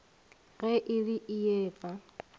ge e le ee efa